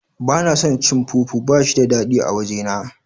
Bana son cin fufu bashi da dadi a waje na.